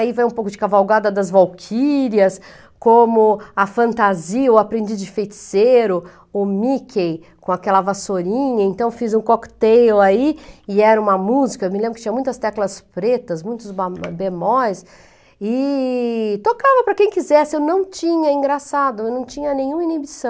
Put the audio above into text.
Aí vai um pouco de Cavalgada das Valquírias, como a fantasia, o Aprendiz de Feiticeiro, o Mickey com aquela vassourinha, então fiz um cocktail aí e era uma música, eu me lembro que tinha muitas teclas pretas, muitos ba bemóis e tocava para quem quisesse, eu não tinha, engraçado, eu não tinha nenhuma inibição.